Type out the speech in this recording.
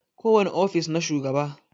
Ko wani ofis na shugaba.